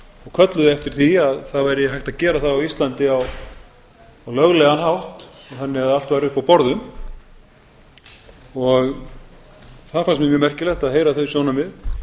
kölluðu eftir því að hægt væri að gera það á íslandi á löglegan hátt þannig að allt væri uppi á borðum það fannst mér mjög merkilegt að heyra þau sjónarmið